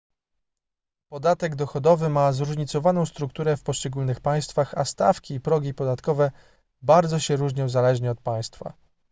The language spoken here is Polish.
podatek dochodowy ma zróżnicowaną strukturę w poszczególnych państwach a stawki i progi podatkowe bardzo się różnią zależnie od państwa